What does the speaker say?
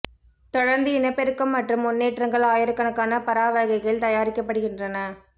தொடர்ந்து இனப்பெருக்கம் மற்றும் முன்னேற்றங்கள் ஆயிரக்கணக்கான பரா வகைகள் தயாரிக்கப்படுகின்றன